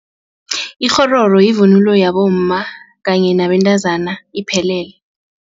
Ikghororo yivunulo yabomma kanye nabentazana iphelele.